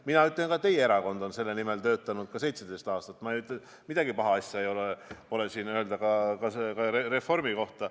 Ma ütlen, et ka teie erakond on selle nimel töötanud 17 aastat ja midagi halba selles ei ole, pole midagi paha öelda ka Reformi kohta.